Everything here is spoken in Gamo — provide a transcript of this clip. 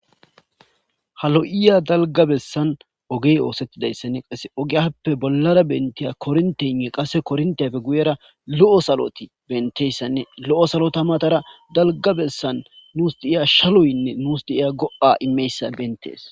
ha lo7iya dalgabessan ogey oosettidayssanne qase ogeyappe bollara bentiya korntenne qasse korntiyafe guyera lo7o saloti benteyssanne lo7o salota matara dalgabessan nuus diiya shaloynne nuus diiya go7a imeyssa bentees